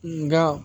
Nga